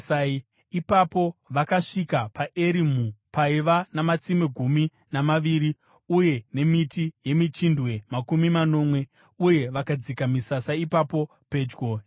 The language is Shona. Ipapo vakasvika paErimu, paiva namatsime gumi namaviri uye nemiti yemichindwe makumi manomwe, uye vakadzika misasa ipapo pedyo nemvura.